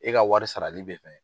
E ka wari sarali bɛ mɛn.